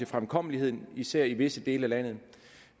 fremkommeligheden især i visse dele af landet